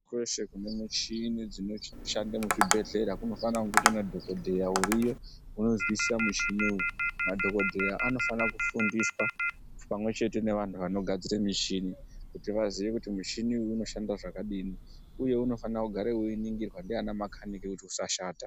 Kweshe kune michini dzinoshande muzvibhedhleya, kunofane kunga kuna dhokodheya unoziya uriyo, unozwisisa mishini uyu. Madhokodheya anofana kufundiswa pamwe nevanhu vanogadzire mishini, kuti vaziye kuti mishini uyu unoshanda zvakadini, uye unofane kugara weiningirwa ndiana makhanike kuti usashata.